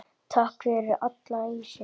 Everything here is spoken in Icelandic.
Takk fyrir allan ísinn.